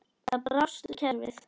Þar brást kerfið.